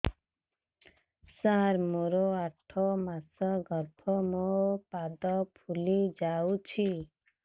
ସାର ମୋର ଆଠ ମାସ ଗର୍ଭ ମୋ ପାଦ ଫୁଲିଯାଉଛି